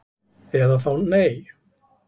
Eða þá nei